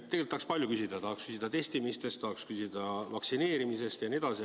Tegelikult tahaks palju küsida, tahaks küsida testimistest, tahaks küsida vaktsineerimisest jne.